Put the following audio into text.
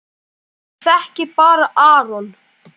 Maður þekkir bara Aron.